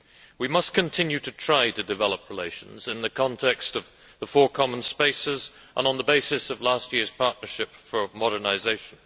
We must continue to try to develop relations in the context of the four common spaces and on the basis of last year's Partnership for Modernisation.